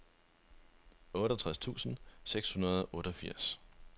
otteogtres tusind seks hundrede og otteogfirs